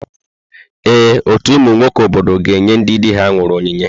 Ee, ọtú ụmụ nwoke obodo ga-enye ndị di ha nwụrụ onyinye.